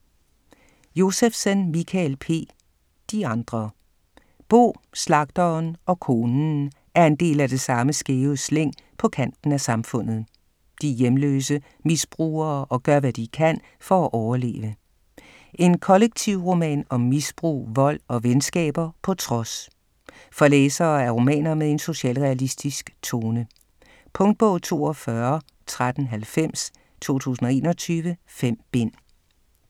Josephsen, Mikael P.: De andre Bo, Slagteren og Konen er en del af det samme skæve slæng på kanten af samfundet. De er hjemløse, misbrugere og gør, hvad de kan for at overleve. En kollektivroman om misbrug, vold og venskaber på trods. For læsere af romaner med en socialrealistisk tone. Punktbog 421390 2021. 5 bind.